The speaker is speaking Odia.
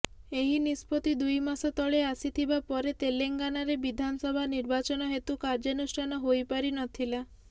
ଏହି ନିଷ୍ପତ୍ତି ଦୁଇ ମାସ ତଳେ ଆସିଥିବା ପରେ ତେଲେଙ୍ଗାନାରେ ବିଧାନସଭା ନିର୍ବାଚନ ହେତୁ କାର୍ୟ୍ୟାନୁଷ୍ଠାନ ହୋଇ ପାରିନଥିଲା